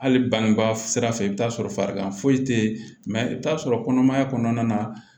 Hali bangebaa sira fɛ i bɛ taa sɔrɔ farigan foyi tɛ ye mɛ i bɛ t'a sɔrɔ kɔnɔmaya kɔnɔna na